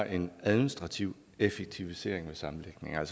en administrativ effektivisering ved sammenlægningen